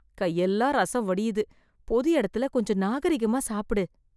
கையெல்லாம் ரசம் வடியுது, பொது இடத்துல கொஞ்சம் நாகரிகமா சாப்பிடு.